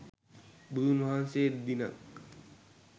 බුදුන් වහන්සේ දිනක්